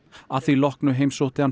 að því loknu heimsótti hann